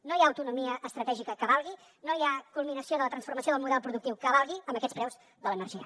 no hi ha autonomia estratègica que valgui no hi ha culminació de la transformació del model productiu que valgui amb aquests preus de l’energia